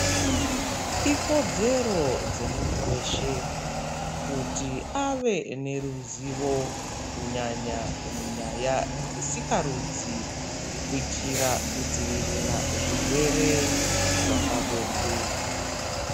Ikodzero yemuntu weshe kuti ave neruzivo kunyanya munyaya dzesikarudzi, kuitira kudzivirira zvirwere zvepabonde.